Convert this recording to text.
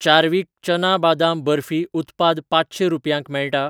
Chadwick चना बादाम बर्फी उत्पाद पांचशें रुपयांक मेळटा?